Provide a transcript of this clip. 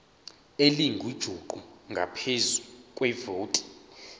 elingujuqu ngaphezu kwevoti